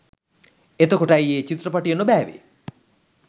එතකොට ඇයි ඒ චිත්‍රපටිය නොබෑවෙ